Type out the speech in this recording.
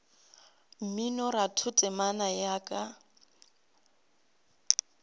mminoratho temana ya re ka